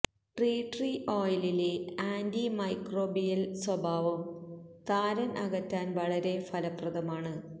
tea tree ഓയിലിലെ antimicrobial സ്വഭാവം താരൻ അകറ്റാൻ വളരെ ഫലപ്രദമാണ്